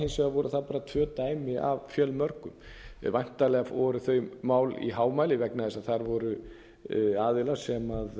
hins vegar voru það bara tvö dæmi af fjölmörgum væntanlega voru þau mál í hámæli vegna þess að þar voru aðilar sem